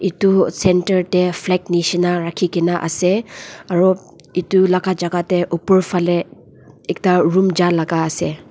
edu center tae flag nishina rakhikena ase aro edu laka jaka tae opor falae ekta room jalaka ase.